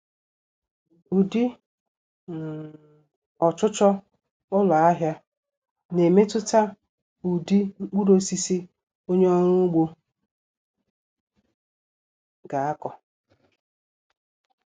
Ụdị um ọchụchọ ụlọahịa na-emetụta ụdị mkpurụosisi onye ọrụ ugbo ga-akọ